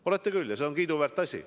Olete küll, ja see on kiiduväärt asi.